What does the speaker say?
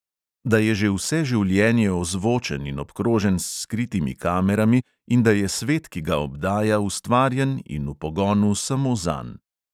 Da je že vse življenje ozvočen in obkrožen s skritimi kamerami in da je svet, ki ga obdaja, ustvarjen in v pogonu samo zanj.